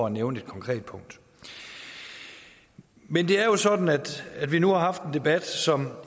at nævne et konkret punkt men det er jo sådan at vi nu har haft en debat som